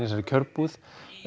þessari kjörbúð